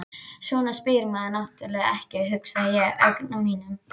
Svona spyr maður náttúrlega ekki, hugsa ég í öngum mínum.